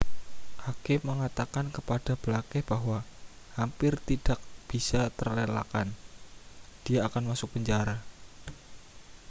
hakim mengatakan kepada blake bahwa hampir tidak bisa terelakkan dia akan masuk penjara